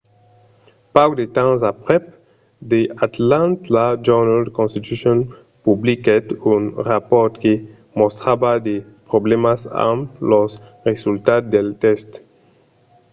pauc de temps aprèp the atlanta journal-constitution publiquèt un rapòrt que mostrava de problèmas amb los resultats del test